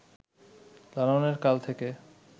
লালনের কাল থেকে